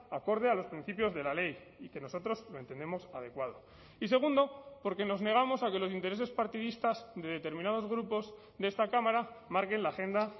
acorde a los principios de la ley y que nosotros lo entendemos adecuado y segundo porque nos negamos a que los intereses partidistas de determinados grupos de esta cámara marquen la agenda